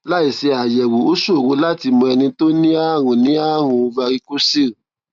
láìsí àyẹwò ó ṣòro láti mọ ẹni tó ní ààrùn ní ààrùn varicocele